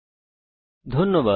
অংশগ্রহনের জন্য ধন্যবাদ